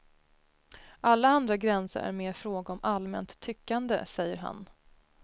Alla andra gränser är mer fråga om allmänt tyckande, säger han.